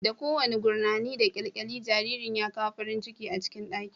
Da kowane gurnani da kyalkyali, jaririn ya kawo farin ciki a ɗakin